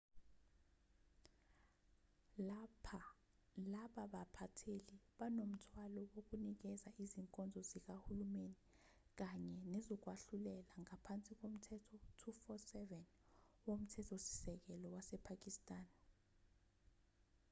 laba baphatheli banomthwalo wokunikeza izinkonzo zikahulumeni kanye nezokwahlulela ngaphansi komthetho 247 womthetho-sisekelo wasepakistan